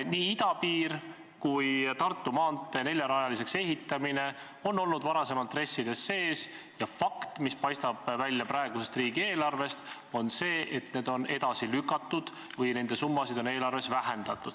Nii idapiir kui Tartu maantee neljarajaliseks ehitamine on olnud varem RES-ides sees ja fakt, mis paistab välja praegusest riigieelarvest, on see, et need on edasi lükatud või nende summasid on eelarves vähendatud.